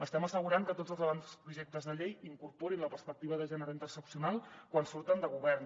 estem assegurant que tots els avantprojectes de llei incorporin la perspectiva de gènere interseccional quan surten de govern